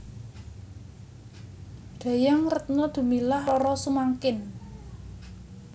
Dayang Retno Dumilah Roro Sumangkin